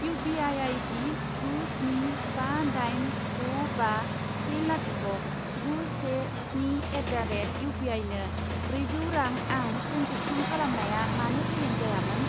U P I ID गु स्नि बा दाइन द' बा से लाथिख' गु से स्नि एट दा रेट इउपिआइनो ब्रैजौ रां आं ट्रेन्जेक्सन खालामनाया मानो फेलें जायामोन?